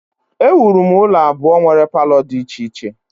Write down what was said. Ewuru m ụlọ abụọ nwere palọ dị iche iche